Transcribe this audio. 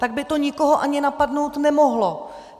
Tak by to nikoho ani napadnout nemohlo.